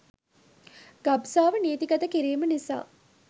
ගබ්සාව නීති ගත කිරීම නිසා